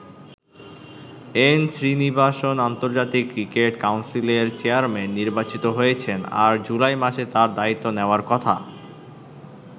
N Srinivasan আন্তর্জাতিক cricket কাউন্সিলের chairman নির্বাচিত হয়েছেন আর জুলাই মাসে তাঁর দায়িত্ব নেওয়ার কথা।